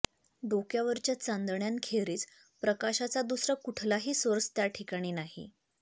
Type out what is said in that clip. डोक्यावरच्या चांदण्यांखेरीज प्रकाशाचा दुसरा कुठलाही सोर्स त्या ठिकाणी नाही